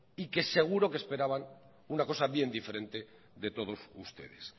y que seguro que esperaban una cosa bien diferente de todos ustedes